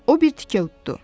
O bir tikə uddu.